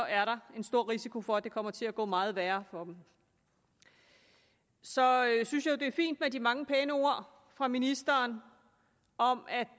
er der en stor risiko for at det kommer til at gå meget værre for dem så synes jeg det er fint med de mange pæne ord fra ministeren om at